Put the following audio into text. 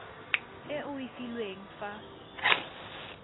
e o e filweng fa